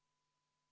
Austatud Riigikogu!